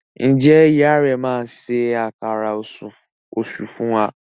Njé ìyá rẹ má ṣe Àkàrà Òṣú fún wá?